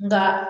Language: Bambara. Nka